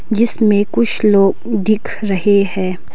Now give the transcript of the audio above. जिसमें कुछ लोग दिख रहे हैं।